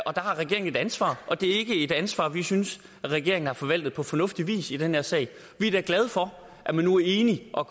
regeringen et ansvar og det er ikke et ansvar vi synes regeringen har forvaltet på fornuftig vis i den her sag vi er da glade for at man nu er enige og